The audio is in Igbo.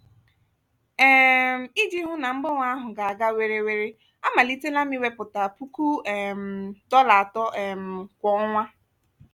um iji hụ na mgbanwe ahụ ga-aga were were amalitela m iwepụta puku um dollar atọ um kwa ọnwa.